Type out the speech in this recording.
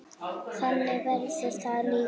Þannig verður það líka.